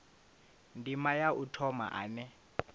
ndima ya u thoma ane